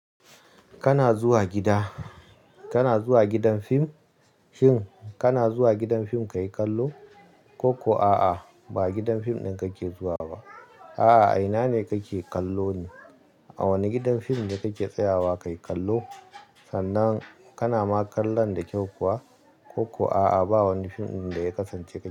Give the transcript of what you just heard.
Kana zuwa gida, kana zuwa gidan fim? Shin kana zuwa gidan fim ka yi kallo? Ko kuwa a'a, ba gidan fim ɗin kake zuwa ba. A'a, a ina ne kake kallo ne? A wane gidan fim da kake tsayawa ka yi kallo? Sannan kana ma kallon da kyau kuwa? Ko kuwa a'a, ba wani fim ɗin da ya kasance kai?